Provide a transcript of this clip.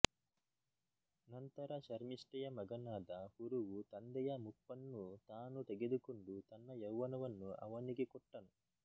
ನಂತರ ಶರ್ಮಿಷ್ಠೆಯ ಮಗನಾದ ಪುರುವು ತಂದೆಯ ಮುಪ್ಪನ್ನು ತಾನು ತೆಗೆದುಕೊಂಡು ತನ್ನ ಯೌವನವನ್ನು ಅವನಿಗೆ ಕೊಟ್ಟನು